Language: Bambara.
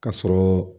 Ka sɔrɔ